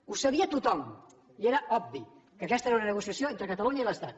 ho sabia tothom i era obvi que aquesta era una negociació entre catalunya i l’estat